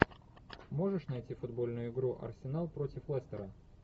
можешь найти футбольную игру арсенал против лестера